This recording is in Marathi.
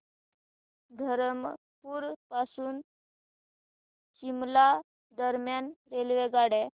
धरमपुर पासून शिमला दरम्यान रेल्वेगाड्या